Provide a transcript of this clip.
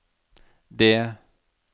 det